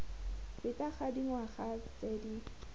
feta ga dingwaga tse di